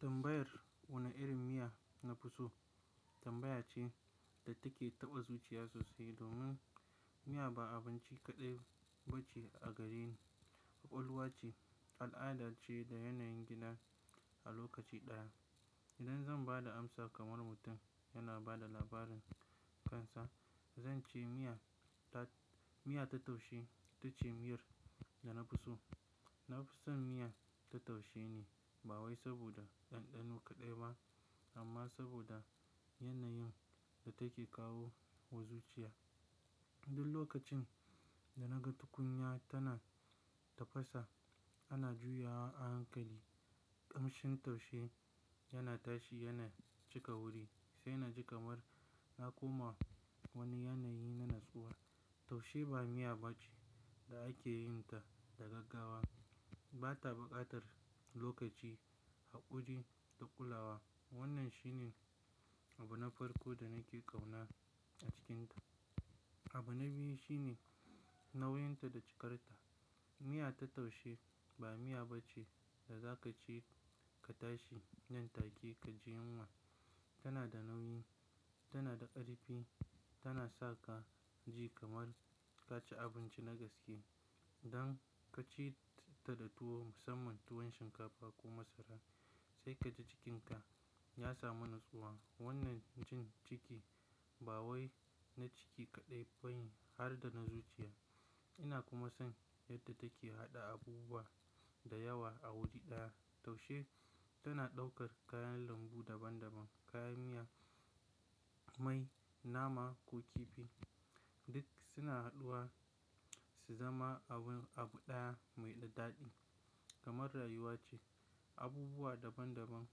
Tambayar wane irin miya nafi so, tambaya ce da take taɓa zuciya sosai domin miya ba abinci kaɗai ba ce a gare ni, ƙwaƙwalwa ce, al'ada ce da yanayin gida a lokaci ɗaya. Idan zan ba da amsa kamar mutum yana ba da labarin kansa, zan ce miya ta-- miya ta taushe ita ce miyar da nafi so. Nafison miya ta taushe ne ba wai saboda ɗanɗano kaɗai ba amma saboda yanayin da take kawo wa zuciya. Duk lokacin da naga tukunya tana tafasa, ana juyawa a hankali, ƙamshin taushe yana tashi yana cika wuri sai na ji kamar na koma wani yanayi na natsuwa. Taushe ba miya ba ce da ake yin ta da gaggawa. Bata buƙatar lokaci, haƙuri da kulawa. Wannan shine abu na farko da nake ƙauna a cikinta. Abu na biyu shine nauyin ta da cikarta. Miya ta taushe ba miya ba ce da za ka ci ka tashi nan take ka ji yunwa. Tana da nauyi, tana karfi, tana sa kaji kamar kaci abinci na gaske. Dan ka ci ta da tuwo, musamman tuwon shinkafa ko masara sai ka ji cikinka ya samu natsuwa. Wannan jin ciki ba wai na ciki kaɗai ba ne har da na zuciya. Ina kuma son yadda take haɗa abubuwa da yawa a wuri ɗaya. Taushe tana ɗaukar kayan lambu daban daban, kayan miya, mai, nama ko kifi duk suna haduwa su zama abun abu ɗaya mai ɗaɗi. Kamar rayuwa ce, abubuwa daban daban,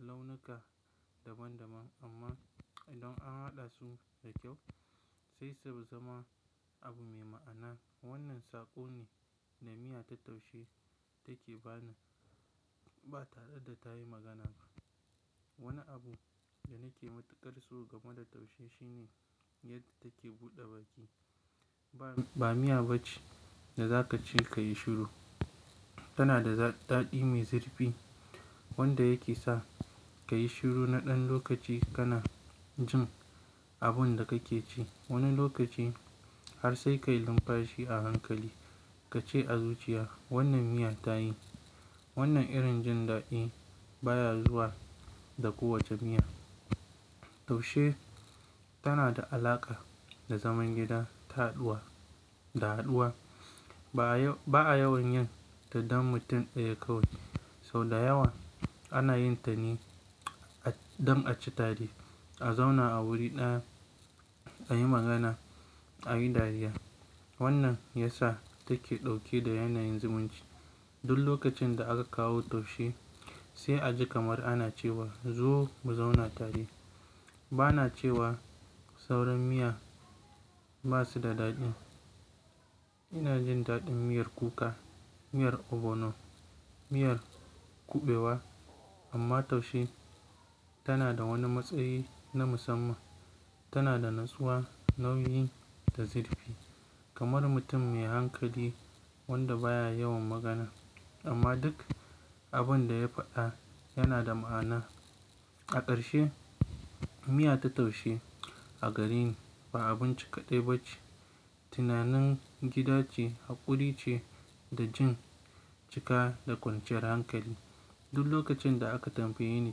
launuka daban daban amma idan an haɗa su da kyau sai su zama abu mai ma'ana. Wannan sako ne da miya ta taushe take bani ba tare da tayi magana ba. Wani abu da nake matuƙar so game da taushe shine yadda take buɗe baki. Ba, ba miya ba ce da za ka ci ka yi shiru. Tana da daɗi mai zirfi wanda yake sa ka yi shiru na ɗan lokaci kana jin abin da kake ci. Wani lokaci har sai ka yi linmfashi a hankali ka ce a zuciya, "Wannan miya ta yi." Wannan irin jin daɗi baya zuwa da kowace miya. Taushe tana da alaƙa da zaman gida, ta haduwa, da haduwa. Ba'a yawan yin ta don mutum ɗaya kawai, sau da yawa ana yin ta ne a-- don a ci tare, a zauna a wuri ɗaya, a yi magana, a yi dariya. Wannan ya sa take ɗauke da yanayin zumunci. Duk lokacin da aka kawo taushe sai a ji kamar ana cewa, "Zo mu zauna tare." Bana cewa sauran miya ba su da daɗi. Ina jin daɗin miyar kuka, miyar ogbono, miyar kuɓewa amma taushe tana da wani matsayi na musamman. Tana da natsuwa, nauyi da zirfi kamar mutum mai hankali wanda baya yawan magana amma duk abin da ya faɗa yana da ma'ana. A ƙarshe, miya ta taushe a gare ni ba abinci kaɗai ba ce, tunanin gida ce, haƙuri ce da jin cika da kwanciyar hankali. Duk lokacin da aka tambaye ni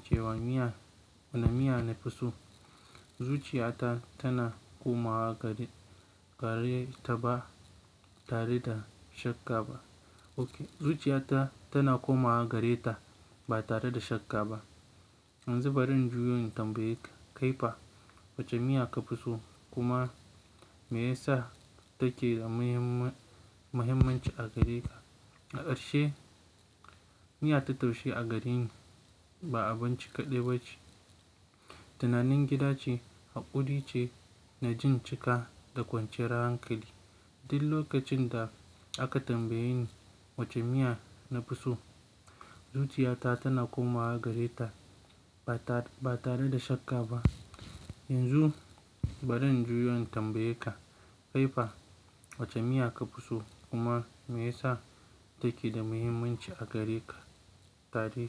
cewa miya, wane miya nafi so, zuciya ta tana komawa gare, gare ta ba tare da shakka ba. Oke, zuciya ta tana komawa gare ta ba tare da shakka ba. Yanzu bari in juyo tambaye ka, kaifa wace miya ka fi so kuma me yasa take da mahimm, mahimmanci a gare ka? A ƙarshe, miya ta taushe a gare ni ba abinci kaɗai ba ce, tunanin gida ce, haƙuri ce na jin cika da kwanciyar hankali. Duk lokacin da aka tambaye ni wace miya nafi so, zuciya ta tana komawa gare ta ba tare, ba tare da shakka ba. Yanzu bari in juyo tambaye ka, kaifa wace miya ka fi so kuma me yasa take da mahimmanci a gare ka? Tare.